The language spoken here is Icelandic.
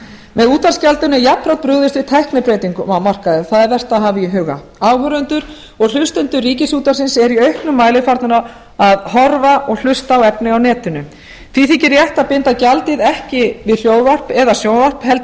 með útvarpsgjaldinu er jafnframt brugðist við tæknibreytingum á markaði það er vert að hafa í huga áhorfendur og hlustendur ríkisútvarpsins eru í auknum mæli farnir að horfa og hlusta á efni á netinu því þykir rétt að binda gjaldið ekki við hljóðvarp eða sjónvarp heldur